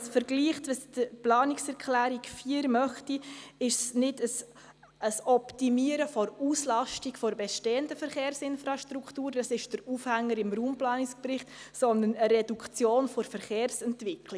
Vergleicht man, was die Planungserklärung 4 will, ist es keine Optimierung der Auslastung der bestehenden Verkehrsinfrastruktur – dies ist der Aufhänger im Raumplanungsbericht –, sondern eine Reduktion der Verkehrsentwicklung.